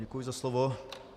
Děkuji za slovo.